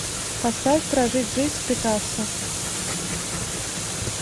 поставь прожить жизнь с пикассо